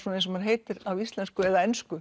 eins og það heitir á íslensku eða ensku